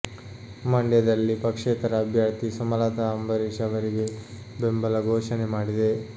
ಮಂಡ್ಯದಲ್ಲಿ ಪಕ್ಷೇತರ ಅಭ್ಯರ್ಥಿ ಸುಮಲತಾ ಅಂಬರೀಶ್ ಅವರಿಗೆ ಬೆಂಬಲ ಘೋಷಣೆ ಮಾಡಿದೆ